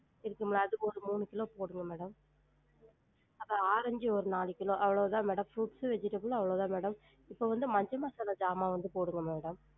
இருக்குங்களா? அது ஒரு மூணு கிலோ போடுங்க madam அப்றம் ஆரஞ்சு ஒரு நாலு கிலோ அவ்ளோதான் madam fruits உ vegetable அவ்ளோதான் madam இப்ப வந்து மஞ்ச மசாலா ஜாமான் வந்து போடுங்க madam